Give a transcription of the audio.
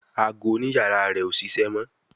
Àgọ òní iyàrá rẹ o ṣẹṣẹ mọ.